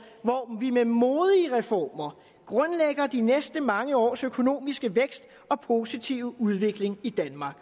hvor vi med modige reformer grundlægger de næste mange års økonomiske vækst og positive udvikling i danmark